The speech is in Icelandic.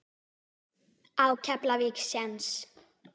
Á Keflavík séns?